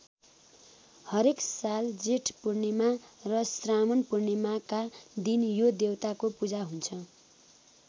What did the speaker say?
हरेक साल जेठ पूर्णिमा र श्रावण पूर्णिमाका दिन यो देवताको पूजा हुन्छ।